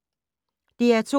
DR2